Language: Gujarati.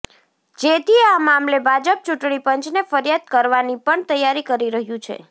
જેથી આ મામલે ભાજપ ચૂંટણી પંચને ફરિયાદ કરવાની પણ તૈયારી કરી રહ્યુ છે